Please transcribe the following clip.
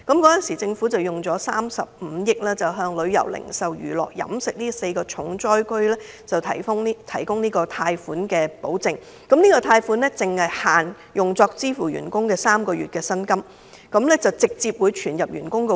當時，政府撥出35億元，為旅遊、零售、娛樂及飲食這4個重災行業提供貸款保證，有關貸款只限用作支付員工的3個月薪酬，而且款項會直接存入員工帳戶。